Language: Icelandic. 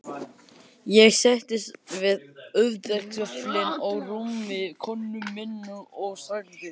Ég settist við höfðagaflinn á rúmi konu minnar og sagði